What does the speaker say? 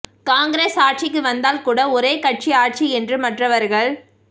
காங்கிரஸ் ஆட்சிக்கு வந்தால் கூட ஒரே கட்சி ஆட்சி என்று மற்றவர்கள்